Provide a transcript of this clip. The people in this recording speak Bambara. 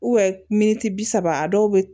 miniti bi saba a dɔw bɛ